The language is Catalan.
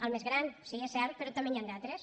el més gran sí és cert però també n’hi han d’altres